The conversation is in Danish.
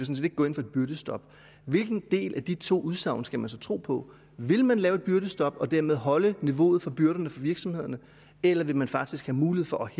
gå ind for et byrdestop hvilken del af de to udsagn skal man så tro på vil man lave et byrdestop og dermed holde niveauet for byrderne for virksomhederne eller vil man faktisk have mulighed for at